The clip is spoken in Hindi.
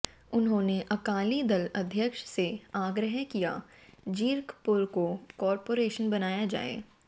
उन्होने अकाली दल अध्यक्ष से आग्रह किया जीरकपुर को काॅरपोरेशन बनाया जाए